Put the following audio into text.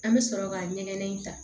An bɛ sɔrɔ ka ɲɛgɛn in ta